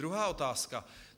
Druhá otázka.